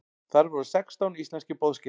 Þar voru sextán íslenskir boðsgestir.